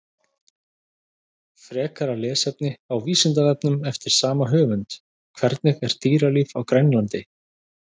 Frekara lesefni á Vísindavefnum eftir sama höfund: Hvernig er dýralíf á Grænlandi?